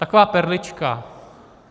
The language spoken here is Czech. Taková perlička.